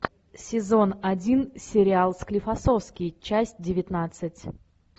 сезон один сериал склифосовский часть девятнадцать